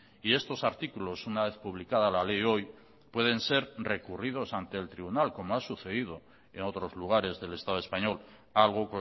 y estos artículos una vez publicada la ley hoy pueden ser recurridos ante el tribunal como ha sucedido en otros lugares del estado español algo